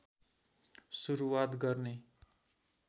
सुरूवात गर्ने